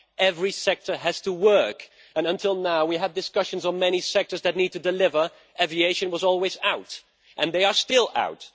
Every sector has to work, and until now we have had discussions on many sectors that needed to deliver, aviation was always out and they are still out.